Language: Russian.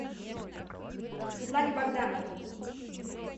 светлане богдановой